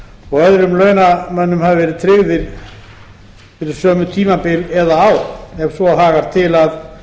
og öðrum launamönnum hafa verið tryggðir fyrir sömu tímabil eða ár ef svo hagar til að